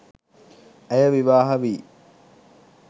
ඇය විවාහ වී